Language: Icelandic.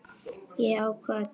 Ég ákvað að gera það.